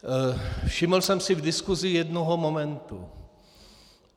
Všiml jsem si v diskusi jednoho momentu.